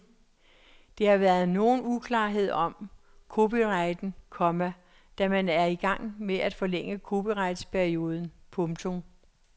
Der har været nogen uklarhed om copyrighten, komma da man er i gang med at forlænge copyrightperioden. punktum